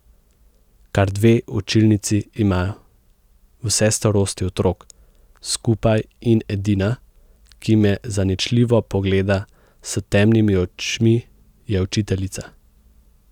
Kar dve učilnici imajo, vse starosti otrok skupaj in edina, ki me zaničljivo pogleda s temnimi očmi, je učiteljica.